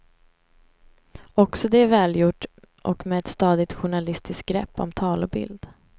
Också det välgjort och med ett stadigt journalistiskt grepp om tal och bild.